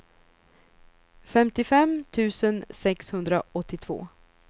femtiofem tusen sexhundraåttiotvå